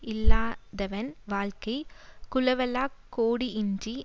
இல்லாதாவன் வாழ்க்கை குளவளாக் கோடுஇன்றி